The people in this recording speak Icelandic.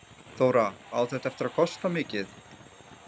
Þóra: Á þetta eftir að kosta mikið?